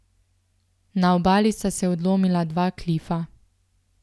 Na obali sta se odlomila dva klifa.